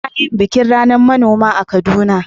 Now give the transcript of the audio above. Ana yin bikin ranar manoma a Kaduna.